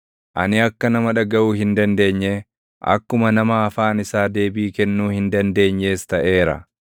Ani akka nama dhagaʼuu hin dandeenyee, akkuma nama afaan isaa deebii kennuu hin dandeenyees taʼeera.